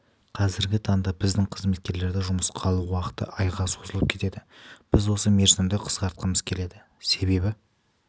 қазіргі таңда біздің қызметкерлерді жұмысқа алу уақыты айға созылып кетеді біз осы мерзімді қысқартқымыз келеді себебі